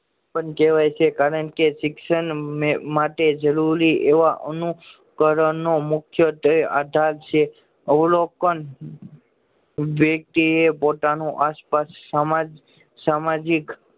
પણ કેવાય છે કારણ કે શિક્ષણ માટે જરૂરી એવા અનુકરણો મુખ્યત્વે આધાર છે અવલોકન વ્યક્તિએ પોતાના આસપાસ સામ સામાજિક પણ કહેવાય છે